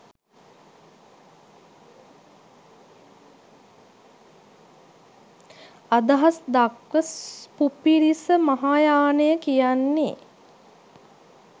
අදහස් දක්ව පුපිරිස මහායානය කියන්නේ